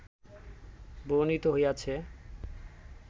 বর্ণিত হইয়াছে